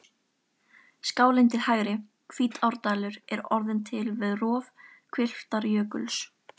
Skálin til hægri, Hvítárdalur, er orðin til við rof hvilftarjökuls.